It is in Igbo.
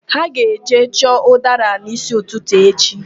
Ha ga-eje chọọ ụdara n'ísí ụtụtụ echi